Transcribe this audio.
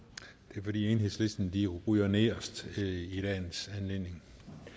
det er fordi enhedslisten ryger nederst i dagens anledning